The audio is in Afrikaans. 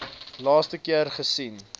laaste keer gesien